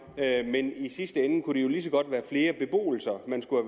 men i sidste ende kunne det jo lige så godt være flere beboelser man skulle